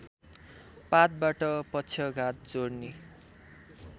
पातबाट पक्षघात जोर्नी